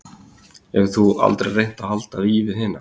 Getur þú aldrei reynt að halda í við hina?